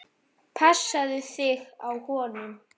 Passaðu þig á honum.